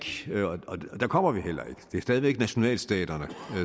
og der kommer vi heller ikke det er stadig væk nationalstaterne